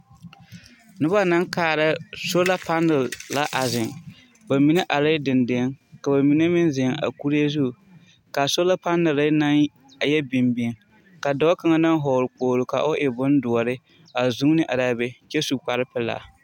Noba naŋ kaara solapanel la a zeŋ. Ba mine arɛɛ dendeŋ ka ba mine meŋ zeŋ a kure zu. K'a solapanɛllɛ naŋ a yɛ bimbim ka dɔɔ kaŋa naŋ hɔɔl kpoglo ka o e bondoɔre a zunni ar'a be kyɛ su kparpelaa.